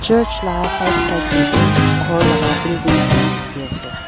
church la side side teh bi ghor laga building khan dikhi ase.